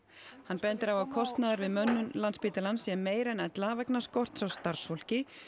hann bendir á að kostnaður við mönnun Landspítalans sé meiri en ella vegna skorts á starfsfólki